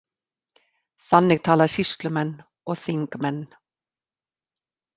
Þannig tala sýslumenn og þingmenn.